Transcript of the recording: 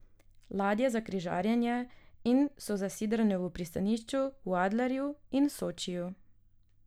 Ladje so za križarjenje in so zasidrane v pristanišču v Adlerju in Sočiju.